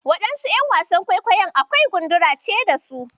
Wasu ƴan wasan kwaikwayon kawai gundura ce da su.